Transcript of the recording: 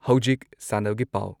ꯍꯧꯖꯤꯛ ꯁꯥꯟꯅꯕꯒꯤ ꯄꯥꯎ